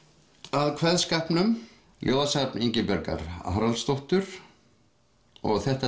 að kveðskapnum ljóðasafn Ingibjargar Haraldsdóttur og þetta